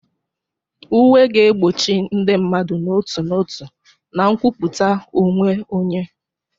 Uwe ga-egbochi ndị mmadụ n'otu n'otu na nkwupụta onwe onye.